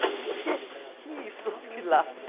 Eu digo, o quê que é isso, Pilates?